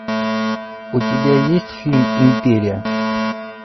у тебя есть фильм империя